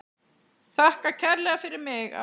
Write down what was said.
Þakka kærlega fyrir mig.